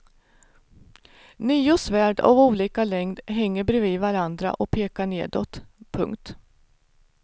Nio svärd av olika längd hänger bredvid varandra och pekar nedåt. punkt